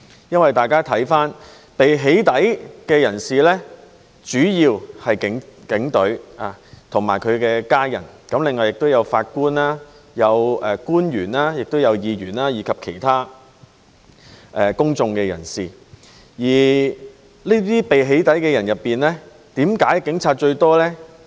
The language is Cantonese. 因為被"起底"的人主要是警隊及其家人，另外也有法官、官員、議員，以及其他公眾人士，而為何這些被"起底"的人以警察佔最多呢？